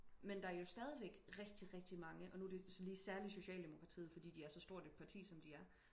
men der er jo stadigvæk rigtig rigtig mange og nu er det så lige særligt socialdemoktratiet fordi de er så stort et parti som de er